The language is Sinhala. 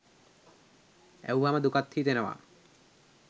ඇහුවම දුකත් හිතෙනව.